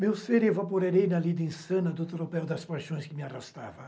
Meu ser evaporei na lida insana do tropéu das paixões que me arrastava.